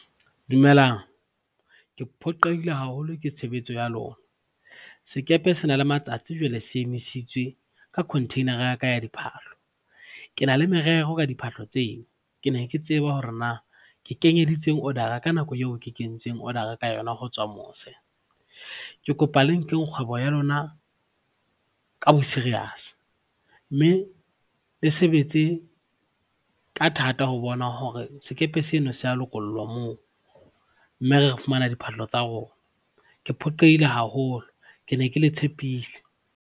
Dumelang, ke phoqeile haholo ke tshebetso ya lona. Sekepe sena le matsatsi jwale se emisitswe ka container-ra ya ka ya diphahlo. Ke na le merero ka diphahlo tseo. Ke ne ke tseba hore na ke kenyeditseng order-ra ka nako eo ke kentseng order-ra ka yona ho tswa mose. Ke kopa le nkeng kgwebo ya lona ka bo-serious mme le sebetse ka thata ho bona hore sekepe seno se a lokollwa moo mme re fumana diphahlo tsa rona. Ke phoqeile haholo, ke ne ke le tshepile.